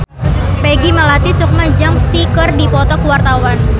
Peggy Melati Sukma jeung Psy keur dipoto ku wartawan